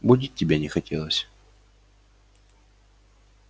будить тебя не хотелось